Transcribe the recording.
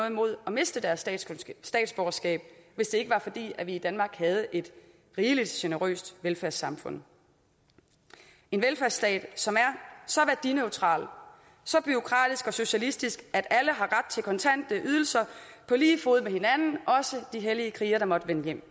imod at miste deres statsborgerskab hvis det ikke var fordi vi i danmark havde et rigelig generøst velfærdssamfund en velfærdsstat som er så værdineutral så bureaukratisk og socialistisk at alle har ret til kontante ydelser på lige fod med hinanden også de hellige krigere der måtte vende hjem